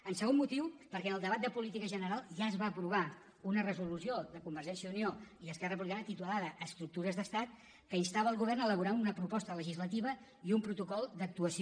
el segon motiu perquè en el debat de política general ja es va aprovar una resolució de convergència i unió i esquerra republicana titulada estructures d’estat que instava el govern a elaborar una proposta legislativa i un protocol d’actuació